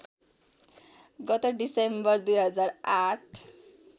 गत डिसेम्बर २००८